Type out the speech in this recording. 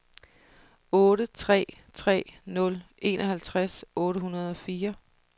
otte tre tre nul enoghalvtreds otte hundrede og fire